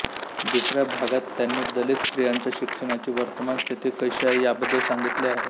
दुसऱ्या भागात त्यांनी दलित स्त्रियांच्या शिक्षणाची वर्तमान स्थिती कशी आहे याबद्द्दल सांगितले आहे